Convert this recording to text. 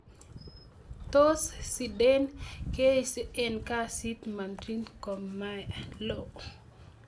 Tos, Zidane keisti eng' kasit Madrid ngomalo.